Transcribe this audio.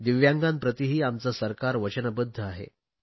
दिव्यांगांप्रतीही आमचे सरकार वचनबध्द आहे